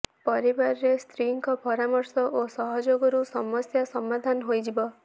ପରିବାରରେ ସ୍ତ୍ରୀଙ୍କ ପରାମର୍ଶ ଓ ସହଯୋଗରୁ ସମସ୍ୟା ସମାଧାନ ହୋଇଯିବ